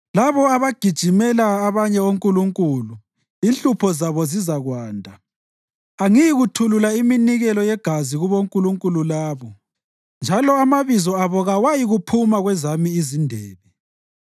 Labo abagijimela abanye onkulunkulu inhlupho zabo zizakwanda. Angiyi kuyithulula iminikelo yegazi kubonkulunkulu labo njalo amabizo abo kawayikuphuma kwezami izindebe.